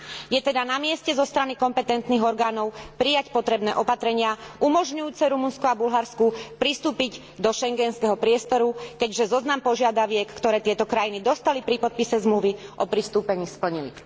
Je teda na mieste, zo strany kompetentných orgánov, prijať potrebné opatrenia umožňujúce Rumunsku a Bulharsku pristúpiť do schengenského priestoru, keďže zoznam požiadaviek, ktoré tieto krajiny dostali pri podpise Zmluvy o pristúpení, splnili.